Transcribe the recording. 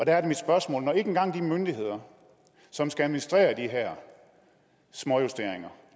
er mit spørgsmål når ikke engang de myndigheder som skal administrere de her småjusteringer